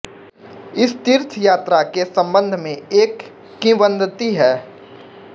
इस तीर्थ यात्रा के संबंध में एक किंवदंती हैं